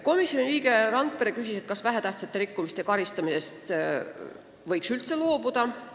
Komisjoni liige Randpere küsis, kas vähetähtsate rikkumiste karistamisest võiks üldse loobuda.